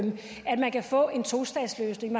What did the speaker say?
man kan få en tostatsløsning